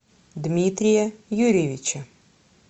дмитрия юрьевича